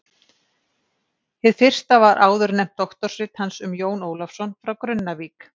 Hið fyrsta var áðurnefnt doktorsrit hans um Jón Ólafsson frá Grunnavík.